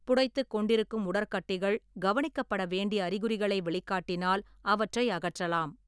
புடைத்துக் கொண்டிருக்கும் உடற்கட்டிகள் கவனிக்கப்பட வேண்டிய அறிகுறிகளை வெளிக்காட்டினால் அவற்றை அகற்றலாம்.